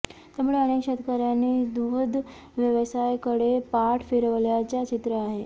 त्यामुळे अनेक शेतकऱ्यांनी दुग्ध व्यवसायाकडे पाठ फिरवल्याचे चित्र आहे